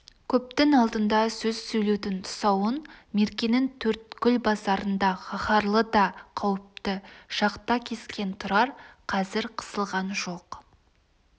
көптің алдында сөз сөйлеудің тұсауын меркенің төрткүл базарында қаһарлы да қауіпті шақта кескен тұрар қазір қысылған жоқ